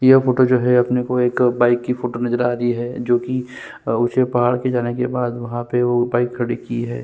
यह फोटो जो है अपने को एक बाइक की फोटो नजर आ रही है जोकि ऊँचे पहाड़ के जाने के बाद वहाँ पे वो बाइक खड़ी की है ।